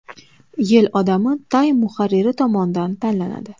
Yil odami Time muharriri tomonidan tanlanadi.